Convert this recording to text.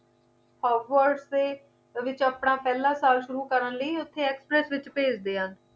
howards ਦੇ ਵਿਚ ਆਪਣਾ ਪਹਿਲਾ ਸਾਲ ਸ਼ੁਰੂ ਕਰਨ ਦੇ ਲਈ ਉੱਥੇ express ਦੇ ਵਿਚ ਭੇਜਦੇ ਹਨ